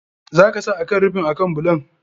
Za ka sa akan rufin akan bulon.